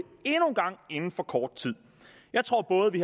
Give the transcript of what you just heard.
gang inden for kort tid jeg tror at både vi